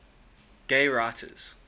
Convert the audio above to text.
gay writers